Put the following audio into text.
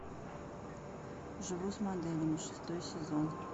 живу с моделями шестой сезон